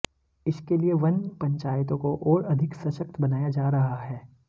इसके लिए वन पंचायतों को और अधिक सशक्त बनाया जा रहा है